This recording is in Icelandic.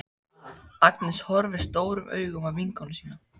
Agnes horfir stórum augum á vinkonu sína.